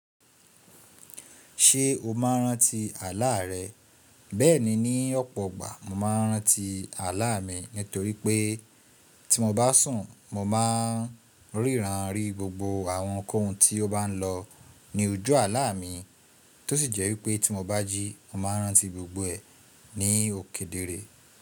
Ṣé o máa n rántí àlá rẹ? Bẹ́ẹ̀ni, ní ọ̀pọ̀ ọgbà mo máa ń rántí àlá mi nítorí pé tí mo bá sùn mo máa ń ríran rí gbogbo àwọn kohun tí ó bá lọ ní ojú àlá mi tó sì jẹ́ wípé tí mo bá jí mo máa rántí gbogbo ẹ̀ ní òkèdere.